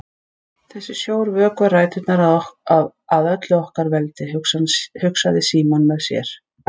Þessi sjór vökvar ræturnar að öllu okkar veldi, hugsaði Símon með sér.